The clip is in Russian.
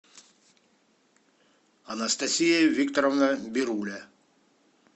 анастасия викторовна бируля